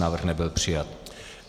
Návrh nebyl přijat.